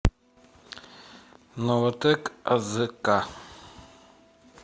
новатэк азк